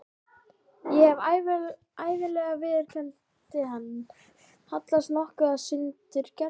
Ég hef ævinlega viðurkenndi hann, hallast nokkuð að sundurgerð